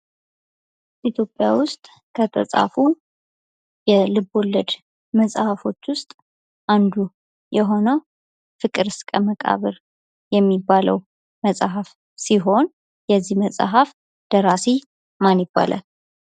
ኢትዮጵያ ውስጥ ከተፃፉ የልቦለድ መጽሀፎች ውስጥ አንዱ የሆነው ፍቅር እስከ መቃብር የሚባለው መጽሐፍ ሲሆን የዚህ መጽሐፍ ደራሲ ማን ይባላል።